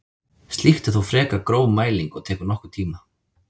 Slíkt er þó frekar gróf mæling og tekur nokkurn tíma.